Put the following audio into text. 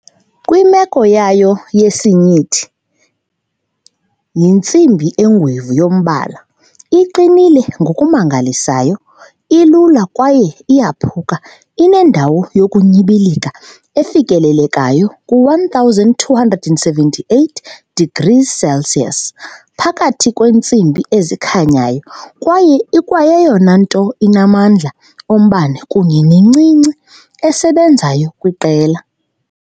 Kwimeko yayo yesinyithi yintsimbi engwevu ngombala, iqinile ngokumangalisayo, ilula kwaye iyaphuka, inendawo yokunyibilika efikelelekayo, ku-1278 degrees Celsius, phakathi kweentsimbi ezikhanyayo kwaye ikwayeyona nto inamandla ombane kunye nencinci esebenzayo kwiqela.